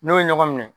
N'o ye ɲɔgɔn minɛ